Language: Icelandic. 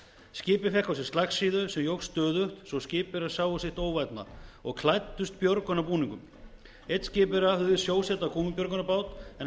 á sig slagsíðu sem jókst stöðugt svo skipverjar sáu sitt óvænna og klæddust björgunarbúningum einn skipverja hugðist sjósetja gúmmíbjörgunarbát en